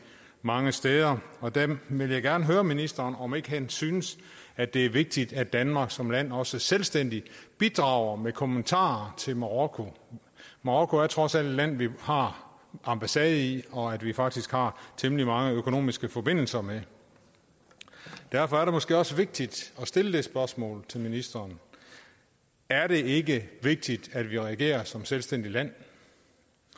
mange steder og der vil jeg gerne høre ministeren om ikke han synes at det er vigtigt at danmark som land også selvstændigt bidrager med kommentarer til marokko marokko er trods alt et land vi har ambassade i og som vi faktisk har temmelig mange økonomiske forbindelser med derfor er det måske også vigtigt at stille det spørgsmål til ministeren er det ikke vigtigt at vi reagerer som et selvstændigt land